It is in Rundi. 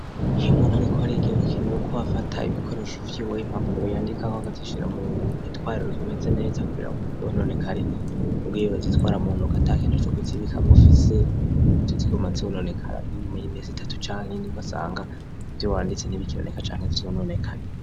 Iyo muntu ariko ariga birakenewe ko afata ibikoresho akeneye uko vyiwe, impapuro yandikako akazishira mu gitwariro kimeze neza kugira ngo ntivyononekare, ugiye urazitwara mu ntoke ata kintu co kuzibikamwo ufise zica ziguma zononekara n'inyuma y'imiti itatu canke ine itatu ugasanga ivyo wanditse ntibikiboneka canke vyononekaye.